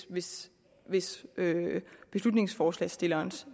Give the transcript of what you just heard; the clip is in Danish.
hvis hvis beslutningsforslagsstillerens